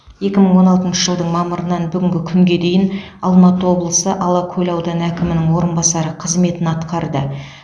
екі мың он алтыншы жылдың мамырынан бүгінгі күнге дейін алматы облысы алакөл ауданы әкімінің орынбасары қызметін атқарды